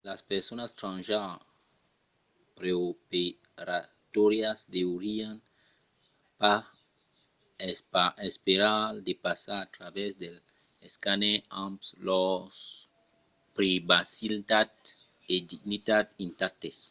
las personas transgenre preoperatòrias deurián pas esperar de passar a travèrs dels escàners amb lors privacitat e dignitat intactes